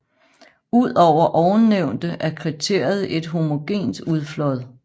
Udover ovennævnte er kriteriet et homogent udflåd